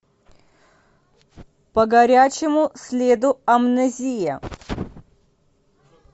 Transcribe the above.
по горячему следу амнезия